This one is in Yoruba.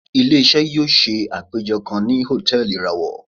Ile-iṣẹ yóò ṣe apejọ kan ni hòtẹ́ẹ̀lì irawọ.